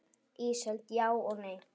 Ísold: Já og nei.